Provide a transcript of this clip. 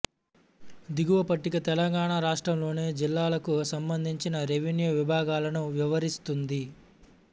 దిగువ పట్టిక తెలంగాణ రాష్ట్రంలోని జిల్లాలకు సంబంధించి రెవెన్యూ విభాగాలను వివరిస్తుంది